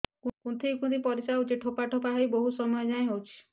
କୁନ୍ଥେଇ କୁନ୍ଥେଇ ପରିଶ୍ରା ହଉଛି ଠୋପା ଠୋପା ହେଇ ବହୁତ ସମୟ ଯାଏ ହଉଛି